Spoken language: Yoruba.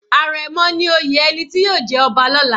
Àrẹ̀mọ ni oyè ẹni tí yóò jẹ ọba lọla.